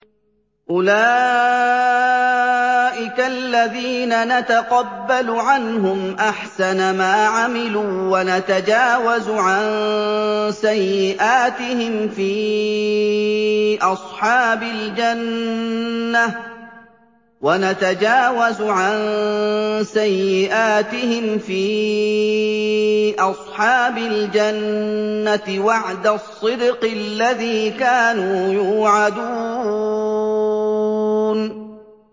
أُولَٰئِكَ الَّذِينَ نَتَقَبَّلُ عَنْهُمْ أَحْسَنَ مَا عَمِلُوا وَنَتَجَاوَزُ عَن سَيِّئَاتِهِمْ فِي أَصْحَابِ الْجَنَّةِ ۖ وَعْدَ الصِّدْقِ الَّذِي كَانُوا يُوعَدُونَ